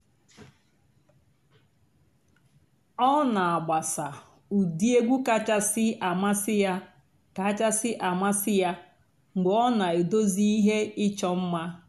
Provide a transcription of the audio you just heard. ọ́ nà-àgbàsà ụ́dị́ ègwú kàchàsị́ àmásị́ yá kàchàsị́ àmásị́ yá mg̀bé ọ́ nà-èdozí íhé ìchọ́ mmá.